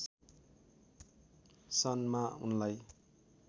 सन् मा उनलाई